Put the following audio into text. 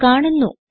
എന്ന് കാണുന്നു